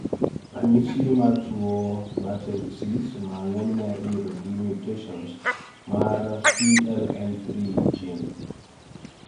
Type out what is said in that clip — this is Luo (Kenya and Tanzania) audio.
Ranyisi mar tuo Batten disease ma ng'enyne iyudo gi mutations mar CLN3 gene